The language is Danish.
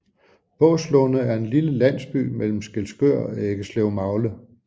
Båslunde er en lille landsby imellem Skælskør og Eggeslevmagle